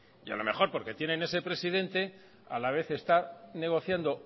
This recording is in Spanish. y a lo mejor porque tienen ese presidente a la vez está negociando